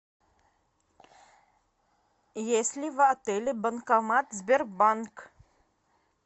есть ли в отеле банкомат сбербанк